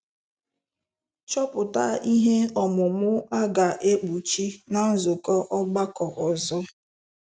Chọpụta ihe omụ́mụ́ a ga-ekpuchi ná nzukọ ọgbakọ ọzọ.